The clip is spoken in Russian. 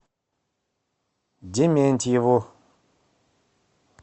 дементьеву